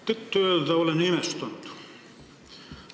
Tõtt-öelda ma olen imestunud.